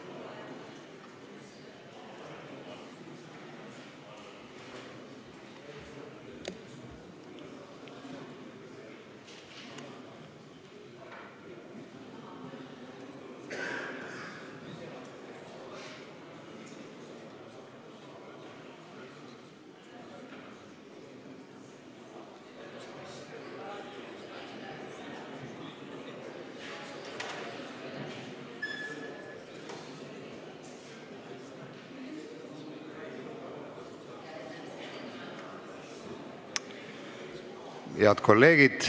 Kohaloleku kontroll Head kolleegid!